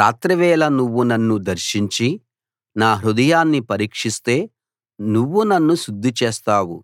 రాత్రివేళ నువ్వు నన్ను దర్శించి నా హృదయాన్ని పరీక్షిస్తే నువ్వు నన్ను శుద్ధి చేస్తావు